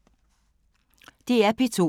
DR P2